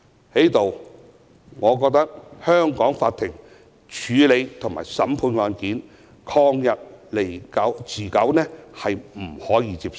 在此，我認為香港法庭處理及審判案件曠日持久的情況是不能接受的。